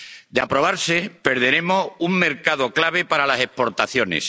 De aprobarse, perderemos un mercado clave para las exportaciones